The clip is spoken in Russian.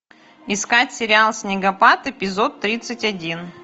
искать сериал снегопад эпизод тридцать один